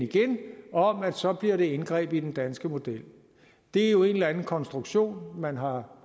om at så bliver det et indgreb i den danske model det er jo en eller anden konstruktion man har